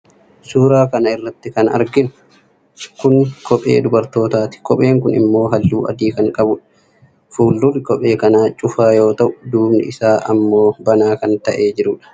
suuraa kana irratti kan arginu kun kophee dubartootaati. kopheen kunis immoo halluu adii kan qabu dha. fuuldurri kophee kana cufaa yoo ta'u duubni isaa immo banaa ta'ee kan jiru dha.